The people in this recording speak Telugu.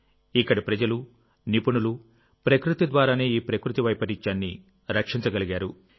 ఇక్కడి ప్రజలునిపుణులు ప్రకృతి ద్వారానే ఈ ప్రకృతి వైపరీత్యాన్ని రక్షించగలిగారు